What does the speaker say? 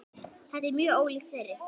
Þetta er mjög ólíkt þeirri